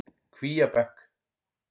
Kvíabekk